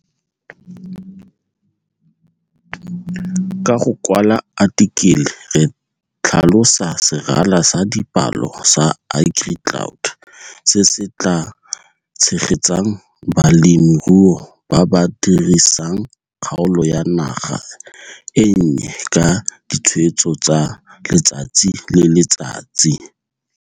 Ka go kwlala athikele e re tlhalosa serala sa dipalo sa agricloud se se tlaa tshegetsang balemirui ba ba dirisang kgaolo ya naga e nnye ka ditshweetso tsa letsatsi le letsatsi.